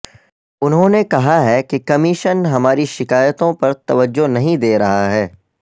انہوں نے کہا کہ کمیشن ہماری شکایتوں پر توجہ نہیں دے رہا ہے